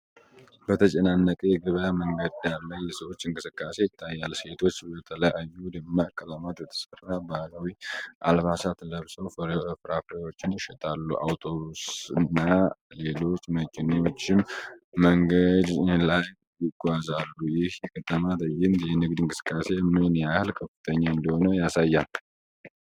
በተጨናነቀ የገበያ መንገድ ዳር ላይ የሰዎች እንቅስቃሴ ይታያል፤ ሴቶች በተለያዩ ደማቅ ቀለማት የተሠሩ ባህላዊ አልባሳት ለብሰው ፍራፍሬዎችን ይሸጣሉ፣ አውቶቡስ እና ሌሎች መኪኖችም መንገድ ላይ ይጓዛሉ። ይህ የከተማ ትዕይንት የንግድ እንቅስቃሴ ምን ያህል ከፍተኛ እንደሆነ ያሳያል?